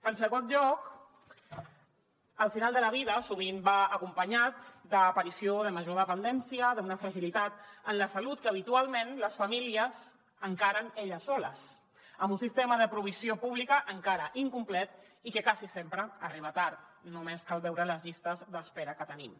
en segon lloc el final de la vida sovint va acompanyat d’aparició de major dependència d’una fragilitat en la salut que habitualment les famílies encaren elles soles amb un sistema de provisió pública encara incomplet i que quasi sempre arriba tard només cal veure les llistes d’espera que tenim